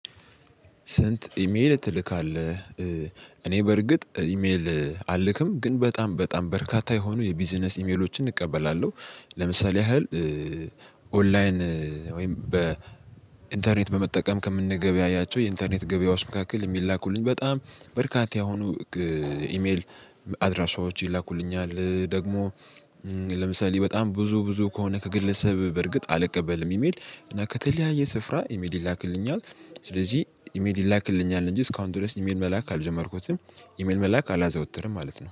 ስንት? ኢሜል ትልካለህ እኔ በርግጥ ኢሜል አልክም ግን በጣም በጣም በርካታ የሆኑ የቢዝነስ ኢሜሎችን እቀበላለሁ። ለምሳሌ ያህል ኦንላይን ወይም በኢንተርኔት በመጠቀም ከምንገበያያቸው የኢንተርኔት ገበያዎች መካከል የሚላኩልኝ በጣም በርካታ የሆኑ ኢሜል አድራሻዎች ይላኩልኛል። ደግሞ ለምሳሌ በጣም ብዙ ብዙ ከሆነ ከግለሰብ በርግጥ አልቀበልም። ኢሜል እና ከተለያየ ስፍራ ኢሜል ይላክልኛል። ስለዚህ ኢሜል ይላክልኛል እንጂ እስካሁን ድረስ ኢሜል መላክ አልጀመርኩትም ኢሜል መላክ አላዘወተርም ማለት ነው